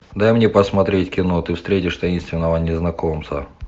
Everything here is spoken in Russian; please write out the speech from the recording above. дай мне посмотреть кино ты встретишь таинственного незнакомца